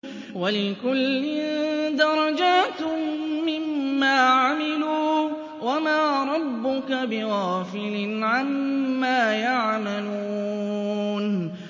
وَلِكُلٍّ دَرَجَاتٌ مِّمَّا عَمِلُوا ۚ وَمَا رَبُّكَ بِغَافِلٍ عَمَّا يَعْمَلُونَ